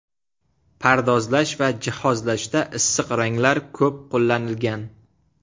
Pardozlash va jihozlashda issiq ranglar ko‘p qo‘llanilgan.